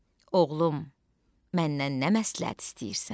Oğlum, məndən nə məsləhət istəyirsən?